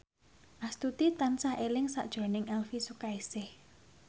Astuti tansah eling sakjroning Elvi Sukaesih